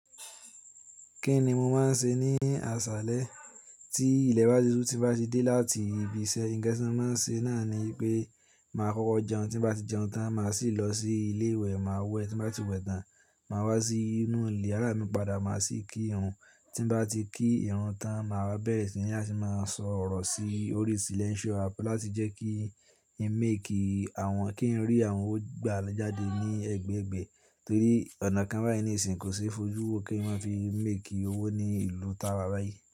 Kí ni mo máa ń ṣe ní aṣálẹ́? Tí ilẹ̀ bá ti sú, tí nbá ti dé láti ibi iṣẹ́, nǹkan tí mo máa ń ṣe náà ni pé màá kọ́kọ́ jẹun, tí bá ti jẹun tán màá sì lọ sí ilé ìwẹ̀, màá wẹ̀, tí bá ti wẹ̀ tán, màá wá sínú ilé, iyaràá mi padà máa sì kí ìrun, tí nbá ti kí ìrun tán màá wá bẹ́ẹ̀ sí nín, a sì máa sọ̀rọ̀ sí orí silẹ́ńsìo app láti jẹ́ kí ì ń mẹ́ẹ̀kì àwọn kí ń rí àwọn owó gbà lé jáde ní ẹgbẹ̀ẹgbẹ̀ẹ́ torí ọ̀nà kan báyìí nísìínyi kò ṣeé fojú wo kí wọ́n fi ń mẹ́ẹ̀kì owó ní ìlú tààwà báyìí.